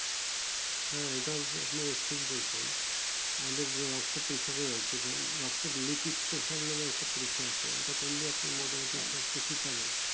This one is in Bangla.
হ্যাঁ এটাই আপনি দিতেছেন এটা করলে আপনি ঠিক হবে